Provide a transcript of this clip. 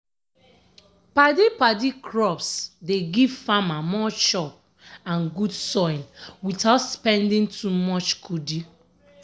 padi-padi crops dey give farmer more chop and good soil without spending too much kudi.